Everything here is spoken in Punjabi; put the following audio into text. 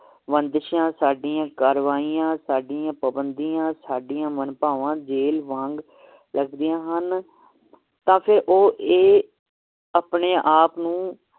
ਬੰਦਿਸ਼ਾਂ ਸਾਡੀਆਂ ਕਾਰਵਾਈਆਂ ਸਾਡੀਆਂ ਪਾਬੰਦੀਆਂ ਸਾਡੀਆਂ ਮਨਭਾਵਾਂ ਜੇਲ ਵਾਂਗ ਲਗਦੀਆਂ ਹਨ ਤਾ ਫੇਰ ਇਹ ਆਪਣੇ ਆਪ ਨੂੰ